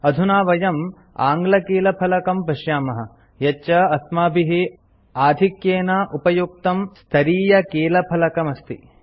अधुना वयं आङ्ग्लकीलफलकं पश्यामः यच्च अस्माभिः आधिक्क्येन उपयुक्तं स्तरीयकीलफलकमस्ति